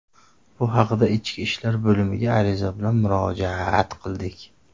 Bu haqda Ichki ishlar bo‘limiga ariza bilan murojaat qildik.